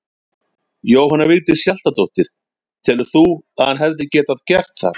Jóhanna Vigdís Hjaltadóttir: Telur þú að hann hefði getað gert það?